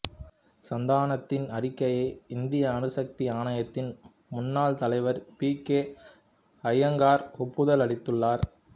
சந்தானத்தின் அறிக்கையை இந்திய அணுசக்தி ஆணையத்தின் முன்னாள் தலைவர் பி கே அயங்கார் ஒப்புதல் அளித்துள்ளார்